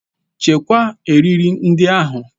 Chekwaa eriri ndị ahụ.